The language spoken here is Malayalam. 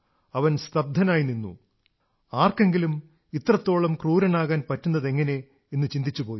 അവൻ സ്തബ്ധനായി നിന്നു ആർക്കെങ്കിലും ഇത്രത്തോളം ക്രൂരനാകാൻ പറ്റുന്നതെങ്ങനെ എന്നു ചിന്തിച്ചുപോയി